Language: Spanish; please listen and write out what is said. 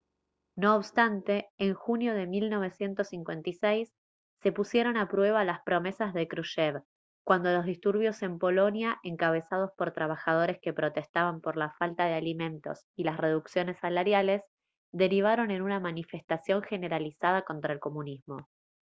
no obstante en junio de 1956 se pusieron a prueba las promesas de krushchev cuando los disturbios en polonia encabezados por trabajadores que protestaban por la falta de alimentos y las reducciones salariales derivaron en una manifestación generalizada contra el comunismo